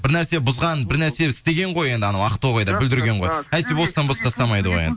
бір нәрсе бұзған бір нәрсе істеген ғой енді анау ақтоғайда бүлдірген ғой әйтпесе бостан босқа ұстамайды ғой